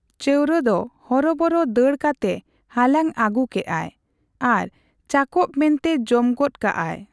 ᱪᱟᱣᱨᱟ ᱫᱚ ᱦᱚᱨᱚᱵᱚᱨᱚ ᱫᱟᱹᱲ ᱠᱟᱛᱮ ᱦᱟᱞᱟᱝ ᱟᱹᱜᱩ ᱠᱮᱫᱼᱟᱭ ᱾ᱟᱨ ᱪᱟᱠᱚᱵ ᱢᱮᱱᱛᱮ ᱡᱚᱢ ᱜᱚᱫ ᱠᱟᱫ ᱟᱭ ᱾